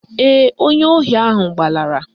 Ee, onye ohi ahụ gbalara